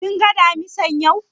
Kin ga Damisan yau?